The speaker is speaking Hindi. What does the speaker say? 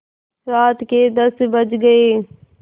रात के दस बज गये